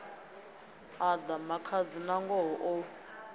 a ḽa makhadzi nangoho o